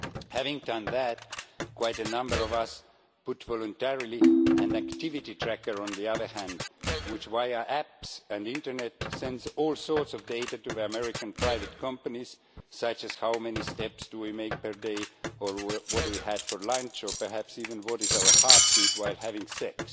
Having done that, quite a number of us voluntarily put an activity tracker on the other hand, sending, via our apps and internet use, all sorts of data to the American private companies, such as how many steps do we make per day or what we had for lunch, or perhaps even what our heartbeat is while having sex.